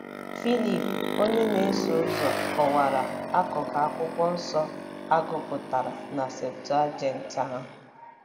Filip onye na-eso ụzọ kọwara akụkụ Akwụkwọ Nsọ a gụpụtara na “Septụaginti” ahụ.